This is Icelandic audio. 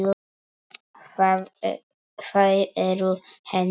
Þau eru henni þung.